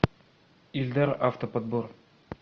ильдар автоподбор